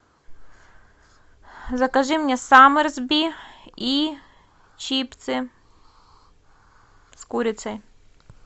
закажи мне самерсби и чипсы с курицей